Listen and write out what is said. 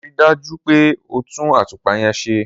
Ri dà jù pẹ o tun àtupà yen sẹ!